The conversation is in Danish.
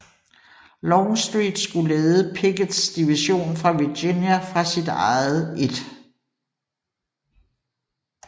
Longstreet skulle lede Picketts division fra Virginia fra sit eget 1